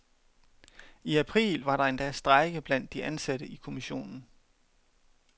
I april var der endda strejke blandt de ansatte i kommissionen.